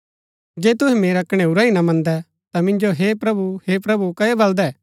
जे तुहै मेरा कणैऊरा ही ना मन्दै ता मिन्जो हे प्रभु हे प्रभु कओ बलदै